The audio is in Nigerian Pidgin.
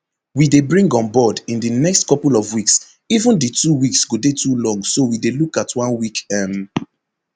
we dey bring onboard in di next couple of weeks even di two weeks go dey too long so we dey look at one week um